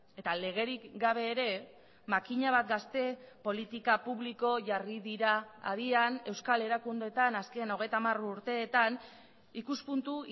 eta legerik gabe ere makina bat gazte politika publiko jarri dira abian euskal erakundeetan azken hogeita hamar urteetan ikuspuntu